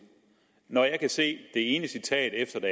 når jeg kan se det ene citat efter det